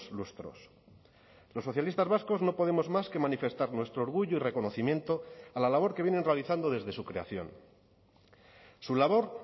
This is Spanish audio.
lustros los socialistas vascos no podemos más que manifestar nuestro orgullo y reconocimiento a la labor que vienen realizando desde su creación su labor